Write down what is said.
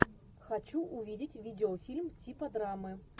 хочу увидеть видеофильм типа драмы